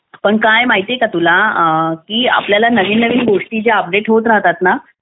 पण काय माहिती का तुला की आपल्याला ज्या गोष्टी नवीन नवीन अपडेट होत राहतात ना